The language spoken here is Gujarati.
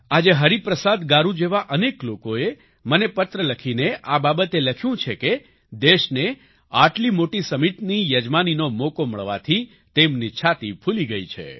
આજે હરિપ્રસાદ ગારૂ જેવા અનેક લોકોએ મને પત્ર લખીને આ બાબતે લખ્યું છે કે દેશને આટલી મોટી સમિટની યજમાનીનો મોકો મળવાની તેમની છાતી ફૂલી ગઈ છે